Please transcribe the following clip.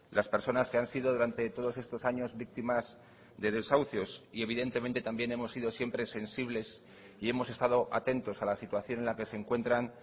las personas que han sido durante todos estos años víctimas de desahucios y evidentemente también hemos sido siempre sensibles y hemos estado atentos a la situación en la que se encuentran